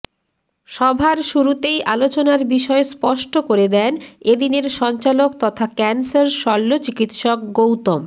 সভার শুরুতেই আলোচনার বিষয় স্পষ্ট করে দেন এ দিনের সঞ্চালক তথা ক্যানসার শল্য চিকিৎসক গৌতম